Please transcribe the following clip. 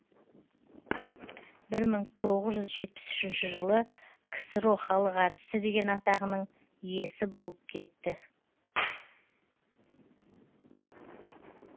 бір мың тоғыз жүз жетпіс үшінші жылы ксро халық әртісі деген атағының иесі болып кетті